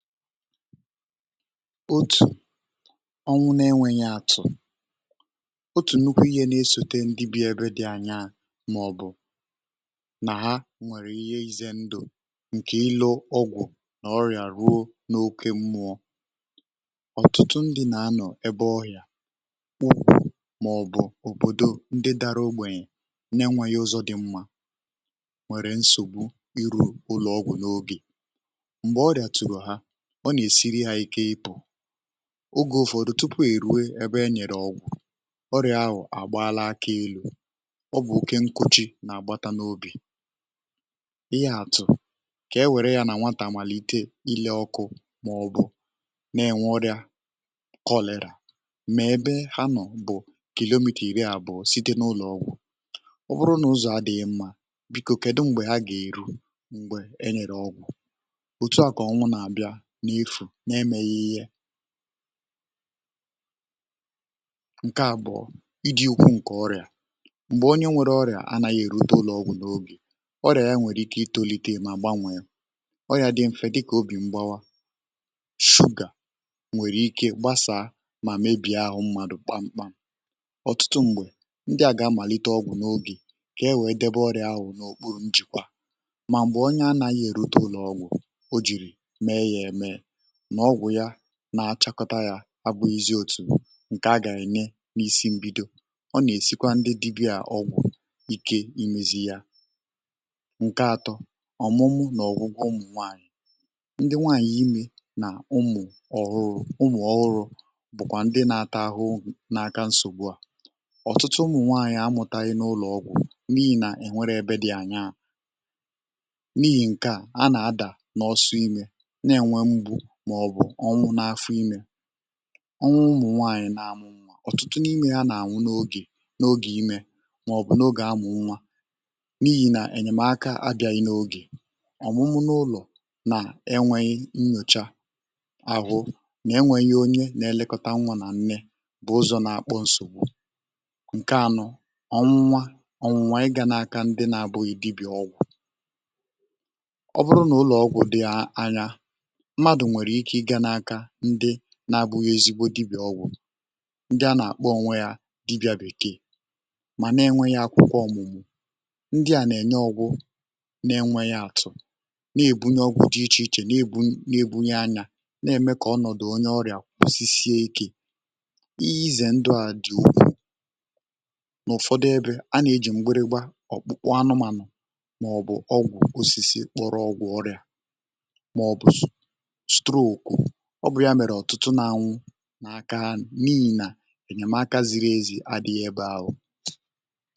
Òtù ọnwụ n’enwėghị̀ àtụ̀ otù nnukwu ìhè n’esòte ndị bi ebe dị̇ anya màọ̀bụ̀ nà ha nwèrè ìhè izė ndụ̀ ǹkè ilo ọgwụ̀ nà ọrị̀à ruo n’okė mmụọ ọ̀tụtụ ndị̇ nà-anọ̀ ebe ọhị̀a màọ̀bụ̀ òbòdo ndị dara ogbènyè nà-enweghị ụzọ̇ dị mmȧ nwèrè nsògbu iru ụlọ̀ọgwụ̀ n’ogè, mgbé ọrịa tụrụ́ ha, ọ nà-èsiri ha ike ịpụ̇. Oge ụ̀fọdụ tupu èrue ebe enyèrè ọgwụ̀ ọrịà ahụ̀ àgbaala akȧ elu̇ ọ bụ̀ oke nkuchi nà-àgbata n’obì ìhè àtụ̀, kà e wère yá nà nwatà nwàlìtè ilė ọkụ̇ màọ̀bụ̀ n’enwe ọrịà kọlị̀rà mà ebe ha nọ̀ bụ̀ kilòmìta ìrì abụọ site n’ụlọ̀ ọgwụ̀. Ọ bụrụ nà ụzọ̀ adị̀ghị̀ mmȧ, bìkò kedù m̀gbè ha gà-èru m̀gbè enyèrè ọgwụ̀? o tua kà ọnwụ nà abịa nà efu n’emeghị ihé. Nkè abụọ, ịdị úkwú ǹkè ọrià mgbe onyé nwèrè ọrià anaghị erute ụ̀lọ ọgwụ n'oge ọrià yá nwèrè ike itolite mà gbanwee, ọya dị mfè dị kà óbì mgbawa, suga nwèrè ike gbasaa mà mebie áhụ mmadụ kpamkpam. Ọtụtụ mgbé, ndị a gá amalite ọgwụ n'oge kà ewe debe ọrià áhụ ná òkpuru nchekwa. Mà mgbè onyé anaghị erute ụ̀lọ ọgwụ ọ jiri mee yá ème nà ọgwụ yá na-achakọta ya abụghị zi otù nkè a gà-ène n’isi mbido ọ nà-èsikwa ndị dibịa ọgwụ̀ ike imėzì yá. Nkè atọ ọ̀mụmụ nà ọ̀gwụgwọ ụmụ̀ nwaànyị̀, ndị nwaànyị̀ imė nà ụmụ̀ ọhụrụ̇ ụmụ̀ ọhụrụ bụ̀kwà ndị na-atà ahụhụ n’aka nsògbu à. Ọ̀tụtụ ụmụ̀ nwaànyị̀ amụ̀tàghị̀ n’ụlọ̀ ọgwụ̀ n’ihì nà e nwéré ebe dị̇ ànaȧ n’ihì ǹkè a a nà-adà n’ọsọ iṅo nà enwè mgbu màọbụ̀ ọnwụ n’afọ imė. Ọnwụ ụmụ̀ nwaànyị̀ nà-àmụ nwa ọ̀tụtụ n’imė hȧ nà-ànwụ n’ogè n’ogè ime maọbu n'oge a mụụ nwà n'ihi nà enyemaka abiaghi n'oge. Ọ̀mụmụ n’ụlọ̀ nà e nwėghi̇ nnyòcha àhụ nà-enwėghi̇ onye nà-èlekọta nwa nà nne bụ ụzọ̇ nà-akpọ ǹsògbù. Ǹkè anọ ọnwụnwa ọnwụnwa ị gȧ n’aka ndị nà-abụghi dibia ọgwụ̀, ọ bụrụ n’ụlọ̀ ọgwụ̀ dị à anya mmadụ nwèrè ike ị gá aka ndị na-abụghị ezigbo dibia ọgwụ̀ ndị a nà-àkpọ onwe ya dibia bèkeè mà na-enweghi akwụkwọ ọ̀mụ̀mụ̀ ndị à nà-ène ọgwụ̇ na-enweghi atụ na-èbunye ọgwụ̇ dị ichè ichè na-ebu na-èbunyi anyȧ na-ème kà ọnọ̀dụ̀ onye ọrị̀à kwụsị sie ikė. Íhé izè ndụ à dị̀ n’ụ̀fọdụ ebe a nà-ejì mgbịrịgbà, ọ̀kpụkpụ anụmànụ̀ màọ̀bụ̀ ọgwụ̀ osisi kpọrọ ọgwụ̀ ọrị̀à maọbụ̀ stroku ọ bụ ya mèrè ọ̀tụtụ n’anwụ n’aka anyị n’ihi nà ènyèmaka ziri ezi adị̇ghị ebe ahụ̀.